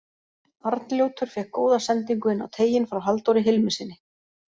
Arnljótur fékk góða sendingu inn á teiginn frá Halldóri Hilmissyni.